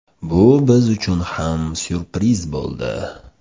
Bu biz uchun ham syurpriz bo‘ldi.